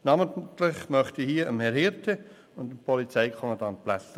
Namentlich danken möchte ich Herrn Florian Hirte und dem Polizeikommandanten Stefan Blättler.